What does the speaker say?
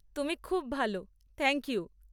তুমি খুব ভাল! Thank you!